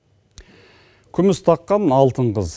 күміс таққан алтын қыз